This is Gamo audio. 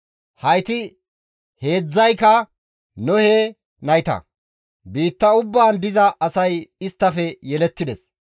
Hayti heedzdzayka Nohe nayta; biitta ubbaan diza asay isttafe yelettides.